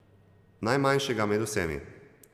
Najmanjšega med vsemi.